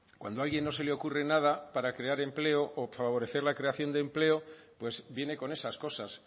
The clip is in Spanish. cuando a alguien no se le ocurre nada para crear empleo o favorecer la creación de empleo pues viene con esas cosas